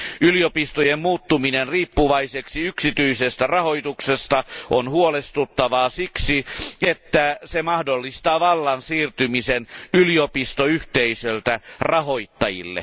Yliopistojen muuttuminen riippuvaiseksi yksityisestä rahoituksesta on huolestuttavaa siksi, että se mahdollistaa vallan siirtymisen yliopistoyhteisöltä rahoittajille.